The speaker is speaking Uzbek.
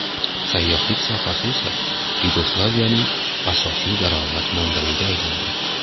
Sayyohlik sohasi esa Yugoslaviyaning asosiy daromad manbayiga aylandi.